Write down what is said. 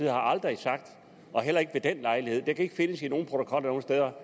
har aldrig sagt heller ikke ved den lejlighed og det kan ikke findes i nogen protokoller eller